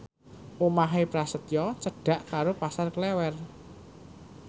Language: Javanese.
omahe Prasetyo cedhak karo Pasar Klewer